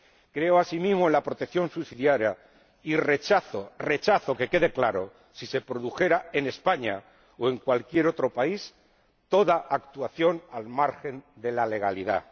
Creo asimismo en la protección subsidiaria y rechazo —que quede claro—, si se produjera en España o en cualquier otro país, toda actuación al margen de la legalidad.